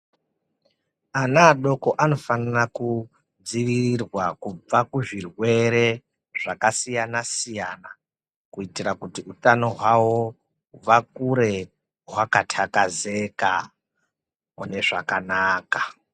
Ana adoko ano fanira ku dzivirirwa kubva ku zvirwere zvaka siyana siyana ku itira kuti utano hwawo kubva kure hwaka takazeka mune zvakanaka.